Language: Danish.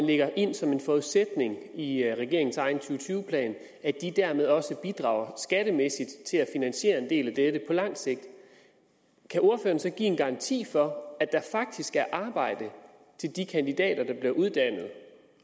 lægger ind som en forudsætning i regeringens egen to tusind og tyve plan at de dermed også bidrager skattemæssigt til at finansiere en del af dette på lang sigt kan ordføreren så give en garanti for at der faktisk er arbejde til de kandidater der bliver uddannet